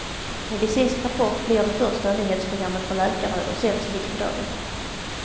Medicinsk rapport blir det första nyhetsprogrammet för läkare och sänds mitt på dagen.